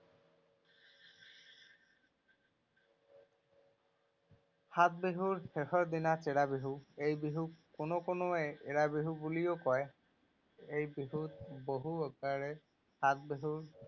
সাত বিহুৰ শেষৰ দিনা চেৰা বিহু। এই বিহুক কোনো কোনোৱে এৰা বিহু বুলিও কয়। এই বিহুক বহু সাত বিহু